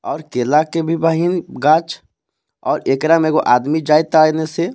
अउर केला के भी बाहीन गाछ अउर एकरा में एगो आदमी जा से.